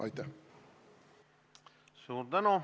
Suur tänu!